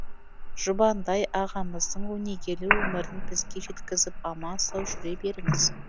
жұбандай ағамыздың өнегелі өмірін бізге жеткізіп аман сау жүре беріңіз